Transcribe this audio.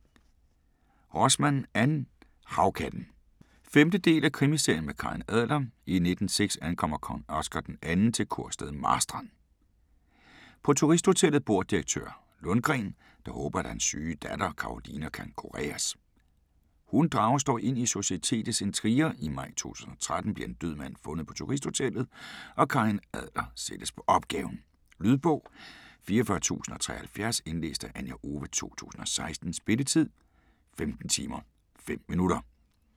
Rosman, Ann: Havkatten 5. del af Krimiserien med Karin Adler. I 1906 ankommer kong Oscar d. 2 til kurstedet Marstrand. På Turisthotellet bor direktør Lundgren, der håber at hans syge datter Karolina kan kureres. Hun drages dog ind i societetets intriger. I maj 2013 bliver en død mand fundet på Turisthotellet, og Karin Adler sættes på opgaven. Lydbog 44073 Indlæst af Anja Owe, 2016. Spilletid: 15 timer, 5 minutter.